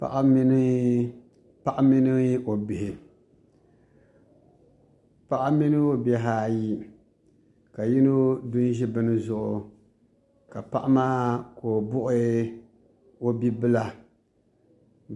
Paɣa mini o bihi ayi ka yino du n ʒi bini zuɣu ka paɣa maa ka o bui o bibila